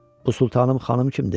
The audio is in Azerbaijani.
Bu Sultanım xanım kimdir?